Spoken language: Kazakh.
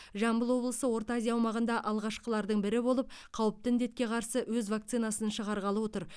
жамбыл облысы орта азия аумағында алғашқылардың бірі болып қауіпті індетке қарсы өз вакцинасын шығарғалы отыр